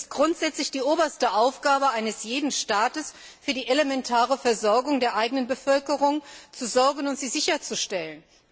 Es ist grundsätzlich die oberste Aufgabe eines jeden Staates, für die elementare Versorgung der eigenen Bevölkerung zu sorgen und sie sicherzustellen.